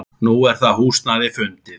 Nú er það húsnæði fundið.